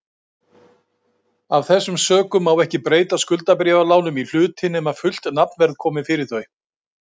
Af þessum sökum má ekki breyta skuldabréfalánum í hluti nema fullt nafnverð komi fyrir þau.